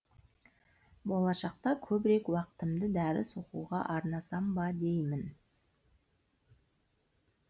болашақта көбірек уақытымды дәріс оқуға арнасам ба деймін